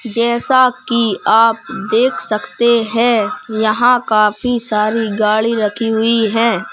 जैसा कि आप देख सकते हैं यहां काफी सारी गाड़ी रखी हुई हैं।